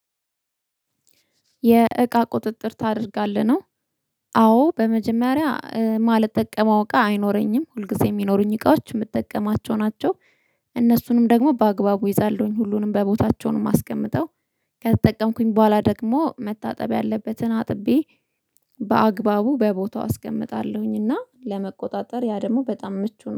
የእቃ ቁጥጥር ታደርጋለህ ነው? አዎ በመጀመሪያ እማልጠቀመው እቃ አይኖረኝም ሁልጊዜ እሚኖሩኝ እቃዎች እምጠቀማቸው ናቸው። እነሱንም ደግሞ በአግባቡ እይዛለሁኝ ሁሉንም በቦታቸው ነው እማስቀመጥ። ከተጠቀምኩኝ በኋላ ደግሞ መታጠብ ያለበትን አጥቤ በአግባቡ በቦታው አስቀምጣለሁኝ። እና ለመቆጣጠር ያ ደግሞ በጣም ምቹ ነው